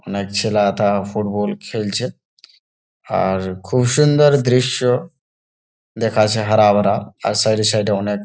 অনেকছেলে থা ফুটবল খেলছে আর খুব সুন্দর দৃশ্য দেখাচ্ছে হারাভারা আর সাইড এ সাইড এ অনেক --